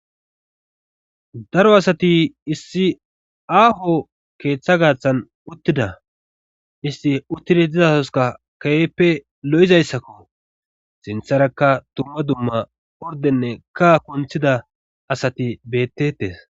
daro asati issi aaho keeththa gaaththan uttida isti uttida dizaoska ka7eppe lo7izayssakko sintharakka tumma dumma ordenne ka konthida asati bettetes